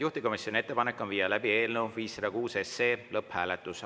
Juhtivkomisjoni ettepanek on viia läbi eelnõu 506 lõpphääletus.